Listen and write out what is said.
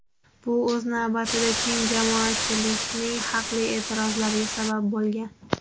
Bu, o‘z navbatida, keng jamoatchilikning haqli e’tirozlariga sabab bo‘lgan.